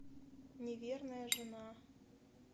неверная жена